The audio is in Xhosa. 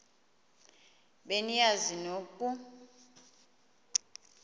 be niyazi nonk